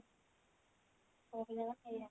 ସବୁଯାକ ସେଇଆ